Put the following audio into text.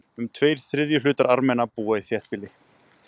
Um tveir þriðju hlutar Armena búa í þéttbýli.